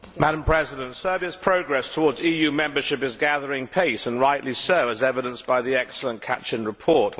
Madam President, Serbia's progress towards EU membership is gathering pace, and rightly so, as evidenced by the excellent Kacin report.